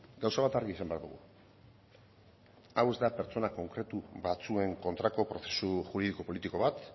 gauza bat argi izan behar dugu hau ez da pertsona konkretu batzuen kontrako prozesu juridiko politiko bat